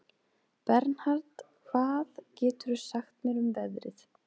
Bernhard, hvað geturðu sagt mér um veðrið?